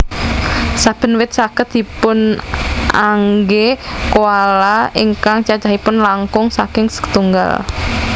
Saben wit saged dipunanggé koala ingkang cacahipun langkung saking setunggal